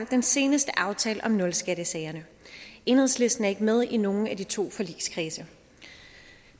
den seneste aftale om nulskattesager enhedslisten er ikke med i nogen af de to forligskredse